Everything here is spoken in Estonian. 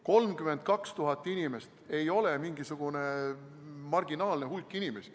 32 000 inimest ei ole mingisugune marginaalne hulk inimesi.